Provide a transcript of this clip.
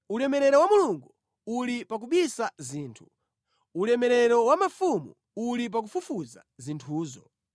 Ulemerero wa Mulungu uli pa kubisa zinthu; ulemerero wa mafumu uli pa kufufuza zinthuzo.